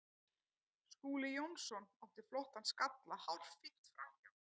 Skúli Jónsson átti flottan skalla hárfínt framhjá.